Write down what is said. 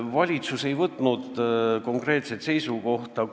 Valitsus ei võtnud konkreetset seisukohta.